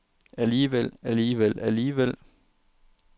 alligevel alligevel alligevel